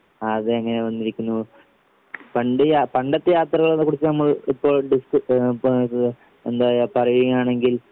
ആ അതെ അങ്ങനെ വന്നിരിക്കുന്നു. പണ്ട് ആ പണ്ടത്തെ യാത്രകളെക്കുറിച്ച് നമ്മൾ ഇപ്പൊ ഏഹ് പ എന്താ പറയാണെങ്കിൽ